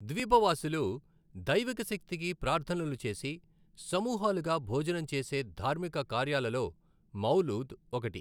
ద్వీపవాసులు దైవిక శక్తికి ప్రార్థనలు చేసి, సమూహాలుగా భోజనం చేసే ధార్మిక కార్యాలలో మౌలూద్ ఒకటి.